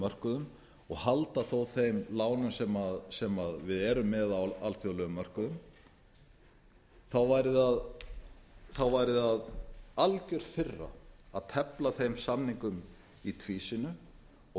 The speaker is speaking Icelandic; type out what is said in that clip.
mörkuðum og halda þó þeim lánum sem við erum með á alþjóðlegum mörkuðum væri það algjör firra að tefla þeim samningum í tvísýnu og